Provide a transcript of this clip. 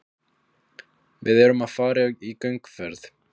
Við erum að fara í gönguferð.